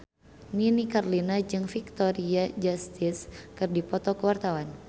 Nini Carlina jeung Victoria Justice keur dipoto ku wartawan